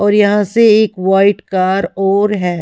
और यहां से एक वाइट कार और है।